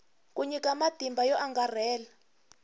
ku nyika matimba yo angarhela